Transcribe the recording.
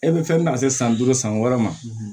E bɛ fɛn min ta se san duuru san wɔɔrɔ ma